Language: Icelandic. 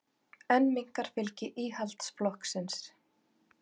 Enn minnkar fylgi Íhaldsflokksins